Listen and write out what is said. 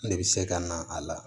Ne bɛ se ka na a la